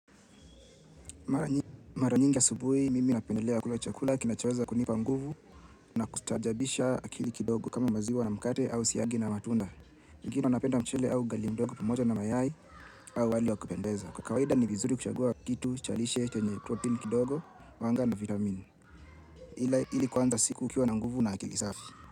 Mara nyingi ya asubuhi mimi napendelea kula chakula kina chaweza kunipa nguvu na kustajabisha akili kidogo kama maziwa na mkate au siagi na matunda. Wengine wanapenda mchele au ugali mdogo pamoja na mayai au wali wa kupendeza. Kwa kawaida ni vizuri kushagua kitu chalishe tenye protein kidogo, wanga na vitamini. Ila ili kuwanza siku kiuwa na nguvu na akili safi.